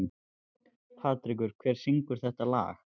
Patrek, hver syngur þetta lag?